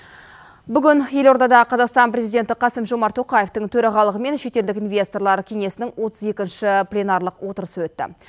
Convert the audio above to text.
бүгін елордада қазақстан президенті қасым жомарт тоқаевтың төрағалығымен шетелдік инвесторлар кеңесінің отыз екінші пленарлық отырысы өтті